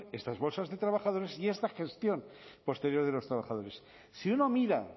estas bolsas de trabajadores y esta gestión posterior de los trabajadores si uno mira